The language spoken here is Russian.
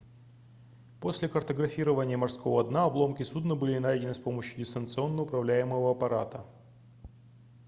после картографирования морского дна обломки судна были найдены с помощью дистанционно управляемого аппарата